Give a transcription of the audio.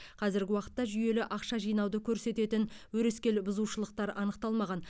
қазіргі уақытта жүйелі ақша жинауды көрсететін өрескел бұзушылықтар анықталмаған